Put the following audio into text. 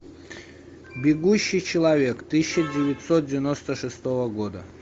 бегущий человек тысяча девятьсот девяносто шестого года